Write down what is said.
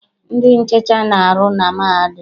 Ndị nhicha na-arụ na mahadum.